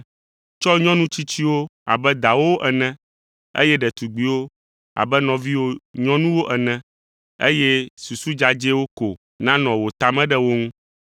Tsɔ nyɔnu tsitsiwo abe dawòwo ene, eye ɖetugbiwo abe nɔviwò nyɔnuwo ene eye susu dzadzɛwo ko nanɔ wò ta me ɖe wo ŋu.